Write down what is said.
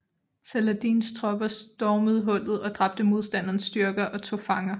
Saladins tropper stormede hullet og dræbte modstanderens styrker og tog fanger